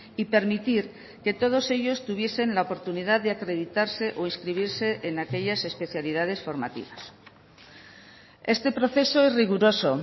y permitir que todos ellos tuviesen la oportunidad de acreditarse o inscribirse en aquellas especialidades formativas este proceso es riguroso